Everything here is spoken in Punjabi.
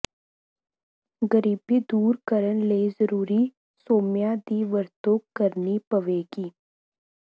ਗਰੀਬੀ ਦੂਰ ਕਰਨ ਲਈ ਜ਼ਰੂਰੀ ਸੋਮਿਆਂ ਦੀ ਵਰਤੋਂ ਕਰਨੀ ਪਵੇਗੀ